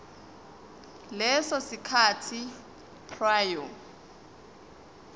leso sikhathi prior